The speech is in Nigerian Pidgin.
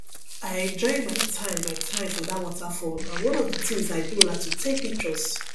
i enjoy my time my time for dat waterfall and one of the things i do na to take pictures